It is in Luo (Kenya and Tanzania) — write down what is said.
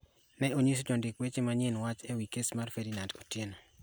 ne onyiso jondik weche manyien wach e wi kes mar Ferdinand Otieno